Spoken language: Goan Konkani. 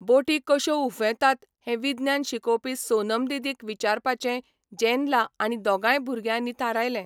बोटी कश्यो उफेंतात हें विज्ञान शिकोवपी सोनम दिदीक विचारपाचें जॅन्ला आनी दोगांय भुरग्यांनी थारायलें.